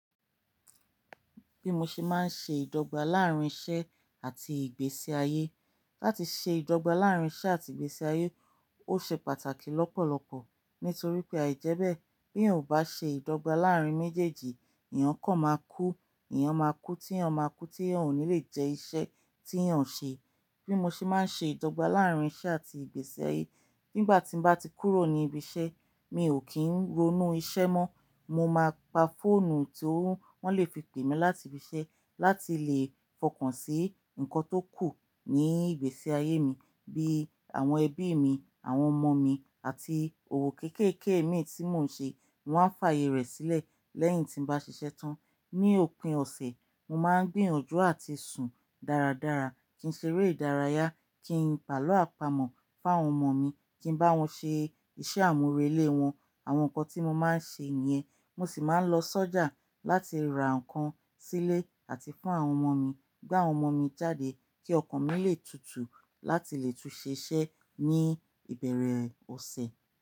Bí mo ṣe máa ń ṣe ìdọ́gba láàárín iṣẹ́ àti ìgbésí ayé. Láti ṣe ìdọ́gba láàárín iṣẹ́ àti ìgbésí ayé, ó ṣe pàtàkì lọ́pọ̀lọpọ̀ nítorí pé àìjẹ́ bẹ̀ bí èèyàn ò bá ṣe ìdọ́gba láàárín méjèèjì, èèyàn kàn máa kú, èèyàn máa kú tí èèyàn máa kú tí èèyàn ò ní lè jẹ iṣẹ́ tí èèyàn ń ṣe. Bí mo ṣe máa ń ṣe ìdọ́gba láàárín iṣẹ́ àti ìgbésí ayé, nígbà tí mo bá ti kúrò ní ibi iṣẹ́, mi ò kí ń ronú iṣẹ́ mọ́. Mo máa pa fóònù ti wọ́n lè fi pè mí láti ibi iṣẹ́ láti lè fọkàn sí nǹkan tó kù ní ìgbésí ayé mi bí àwọn ẹbí mi, àwọn ọmọ mi àti òwò kéékèèké mi tí mò ń ṣe. Mo máa ń fààyè rẹ̀ sílẹ̀ lẹ́yìn tí mo bá ṣiṣẹ́ tán. Ni òpin ọ̀sẹ̀, mo máa ń gbìyànjú àti sùn dáradára kí n ṣe eré ìdárayá, kí n pàlọ́ àpamọ́ fún àwọn ọmọ mi, kí n bá wọn ṣe iṣẹ́ àmúrelé wọn, àwọn nǹkan tí mo máa ń ṣe nìyẹn. Mo sì máa ń lọ sọ́jà láti ra nǹkan sílé àti fún àwọn ọmọ mi, gbé àwọn ọmọ mi jáde kí ọkàn mi lè tutù láti lè tún ṣiṣẹ́ ní ìbẹ̀rẹ̀ ọ̀sẹ̀.